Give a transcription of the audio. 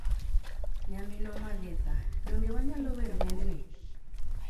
Nyaminwa Maritha, donge wanyalo wer wendni?